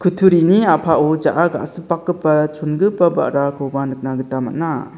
kutturini a·pao ja·a ga·sipakgipa chonbegipa ba·rakoba nikna gita man·a.